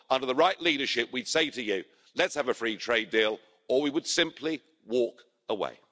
Under the right leadership we'd say to you let's have a free trade deal, or we would simply walk away.